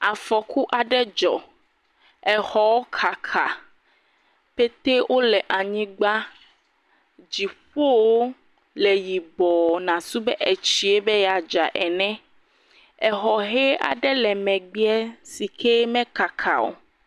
Afɔku aɖe dzɔ. Exɔ kaka petɛ wole anyigba. Dziƒo le yibɔ nasu be tsie be yeadza ene. Xɔ hɛe aɖe le megbe si ke mekaka o.